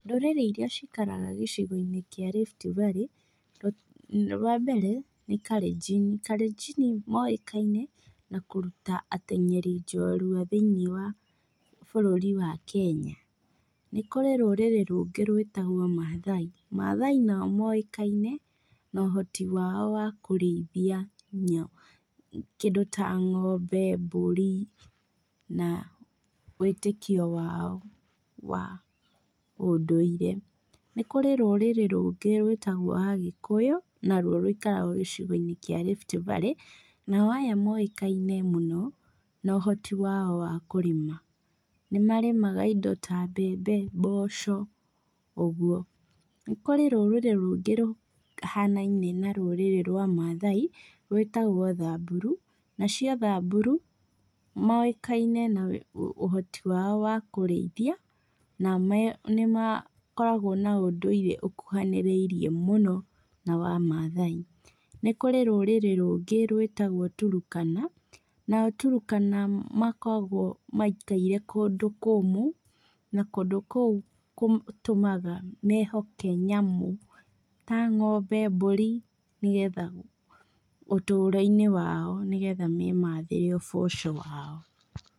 Ndũrĩrĩ iria cikaraga gĩcigo-inĩ kĩa Rift Valley, wa mbere, nĩ Kalenjini. Kalenjini moĩkaine na kũruta ateng'eri njorua thĩiniĩ wa bũrũri wa Kenya. Nĩ kũrĩ rũrĩrĩ rũngĩ rwĩtagwo Mathai. Mathai nao moĩkaine na ũhoti wao wa kũrĩithia kĩndũ ta ng'ombe, mbũri, na wĩtĩkio wao wa ũndũire. Nĩ kũrĩ rũrĩrĩ rũngĩ rwĩtagwo Agĩkũyũ, naruo rũikaraga gĩcigo-inĩ kia Rift Valley, nao aya moĩkaine mũno na ũhoti wao wa kũrĩma. Nĩmarĩmaga indo ta mbembe, mboco, ũguo. Nĩ kũrĩ rũrĩrĩ rũngĩ rũhanaine na rũrĩrĩ rwa Mathai, rwĩtagwo Thamburu. Nacio Thamburu, moĩkaine na ũhoti wao wa kũrĩithia, na nĩmakoragwo na ũndũire ũkuhanĩrĩirie mũno na wa Mathai. Nĩ kurĩ rũrĩrĩ rũngĩ rwĩtagwo Turkana, nao Turkana makoragwo maikaire kũndũ kũmũ, na kũndũ kũu kũtũmaga mehoke nyamũ ta ng'ombe, mbũri, nĩgetha, ũtũũro-inĩ wao nĩgetha memathĩre ũboco wao.